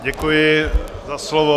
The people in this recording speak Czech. Děkuji za slovo.